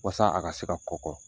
Walasa a ka se ka kɔkɔ